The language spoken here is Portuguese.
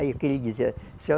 Aí o que ele dizia, Seu